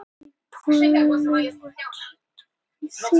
Hvíldu þig vel og ég skal hjálpa þér að taka til og elda í kvöld.